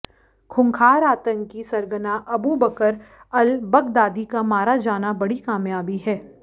खूंखार आतंकी सरगना अबू बकर अल बगदादी का मारा जाना बड़ी कामयाबी है